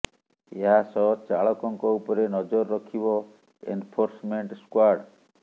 ଏହା ସହ ଚାଳକଙ୍କ ଉପରେ ନଜର ରଖିବ ଏନଫୋର୍ସମେଂଟ୍ ସ୍କ୍ୱାଡ୍